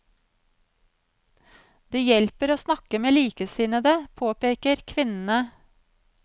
Det hjelper å snakke med likesinnede, påpeker kvinnene.